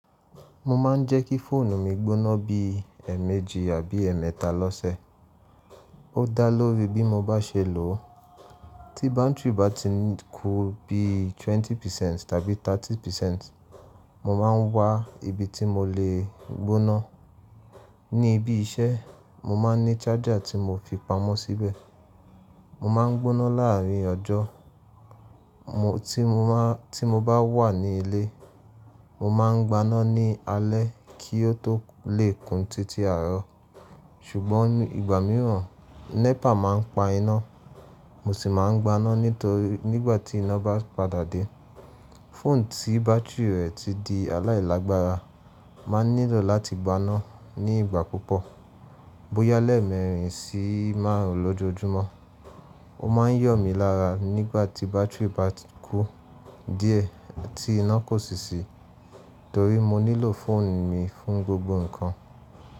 Mo ma n jẹ́ kí fóònù mi gbóná bí èmejì àbí èméta lọ́sẹ̀. Ó da lóri bí mo bá ṣe lò ó. Tí bátírì bá ti n kú bí 20% tàbí 30%, mo máa n wa ibi tí mo lè gbóná. Ní ibi iṣẹ́, mo máa n ní charger tí mo fi pamọ́ síbẹ̀. Mo máa n gbóná láàárín ọjọ́. Mo tí mo má ti mo bá wà ní ilé, mo máa n gbáná ní alẹ́ kí ó tó lè kún títí àárọ̀. Ṣùgbọ́n ìgbà mìíràn, NEPA máa n pa iná, mo sì máa n gbáná nítorí nígbà tí iná bá padà dé. Fóònù tí bátírí rẹ̀ ti di aláìlàgbára máa n nílò láti gbáná ní ìgbà púpọ̀, bóyá lẹ́ẹ̀mẹrin sí márùn lójoojúmọ́. Ó máa ń yọ̀ mi lára nígbà tí bátírì bá kú díẹ̀ tí iná kò sì sí, torí mo nílò fóònù mi fún gbogbo nǹkan.